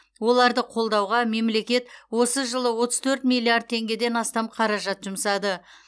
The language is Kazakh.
оларды қолдауға мемлекет осы жылы отыз төрт миллиард теңгеден астам қаражат жұмсады